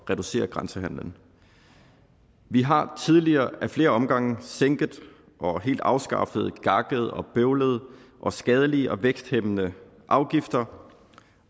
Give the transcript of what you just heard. at reducere grænsehandelen vi har tidligere af flere omgange sænket og helt afskaffet gakkede og bøvlede og skadelige og væksthæmmende afgifter